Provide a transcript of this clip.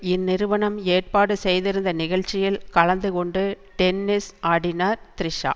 இந்நிறுவனம் ஏற்பாடு செய்திருந்த நிகழ்ச்சியில் கலந்து கொண்டு டென்னிஸ் ஆடினார் த்ரிஷா